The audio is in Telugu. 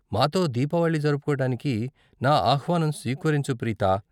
మాతో దీపావళి జరుపుకోడానికి నా ఆహ్వానం స్వీకరించు, ప్రీతా.